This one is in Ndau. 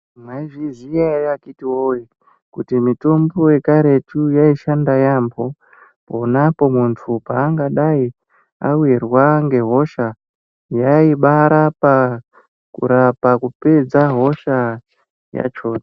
Mwaizviziya ere akhiti voye kuti mitombo yekaretu yaisha yaambo. Ponapo muntu pangadai avirwa ngehosha yaibara pakurapa kupedza hosha yachona.